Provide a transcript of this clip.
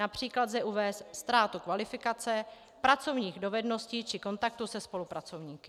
Například lze uvést ztrátu kvalifikace, pracovních dovedností či kontaktu se spolupracovníky.